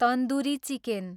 tandoori chicken